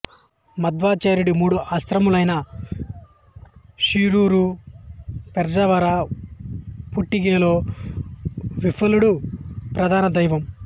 మధ్వాచార్యుడి మూడు ఆశ్రమాలైన షిరూరు పెజావర పుట్టిగెలో విఠలుడు ప్రధాన దైవం